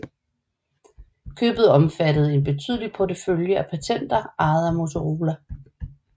Købet omfattede en betydelig portefølje af patenter ejet af Motorola